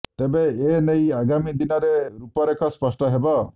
ତେବେ ଏ ନେଇ ଆଗାମୀ ଦିନରେ ରୂପରେଖ ସ୍ପଷ୍ଟ ହେବ